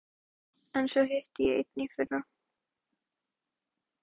Tom, sá yngri, var hálfgerður rindill, lítill og veimiltítulegur.